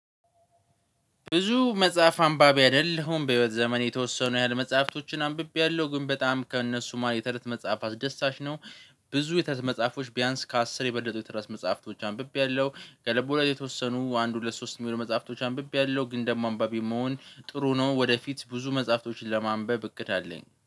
ብዙ መጽሐፍ አንባቢ አይደለሁም በህይወት ዘመኔ የተወሰኑ ያህል መጽሐፍቶችን አንብቤያለሁ ግን በጣም ከእነሱ ማን የትረት መጽሐፍ አስደሳች ነው። ብዙ የትረት መጽሐፎች ቢያንስ ከአስር የበለጡ የትረት መጽሐፍቶች አንብቤያለሁ። ከልብወለድ የተወሰኑ አንድ፣ ሁለት፣ ሶስት የሚሆኑ መጽሐፍቶች አንብቤያለሁ ግን ደግሞ አንባቢ መሆን ጥሩ ነው። ወደፊት ብዙ መጽሐፍቶችን ለማንበብ እቅድ አለኝ